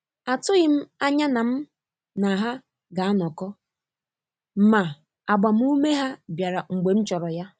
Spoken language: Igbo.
Atụghị m anya na mụ na ha ga anọkọ, ma agbamume ha bịara mgbe m chọrọ ya.